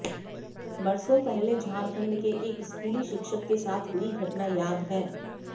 बरसों पहले झारखंड के एक स्कूली शिक्षक के साथ हुई घटना याद है